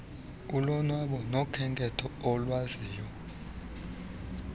olonwabo nawokhenketho akwaziyo